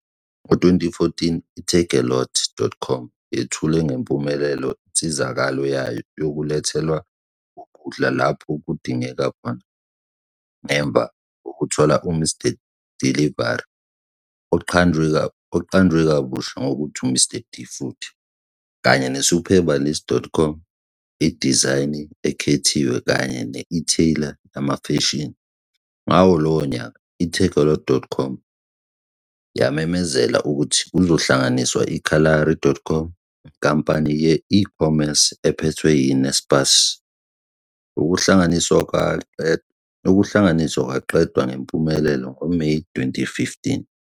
Ngo-2014, i-takealot.com yethule ngempumelelo insizakalo yayo yokulethwa kokudla lapho kudingeka khona ngemva kokuthola uMr Delivery, oqanjwe kabusha ngokuthi "Mr D Food", kanye ne-Superbalist.com, idizayini ekhethiwe kanye ne-e-tailer yemfashini. Ngawo lowo nyaka, i-takealot.com yamemezela ukuthi kuzohlanganiswa i-Kalahari.com, inkampani ye-ecommerce ephethwe yi-Naspers. Ukuhlanganiswa kwaqedwa ngempumelelo ngoMeyi 2015.